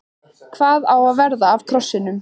Hvað á að verða af krossinum?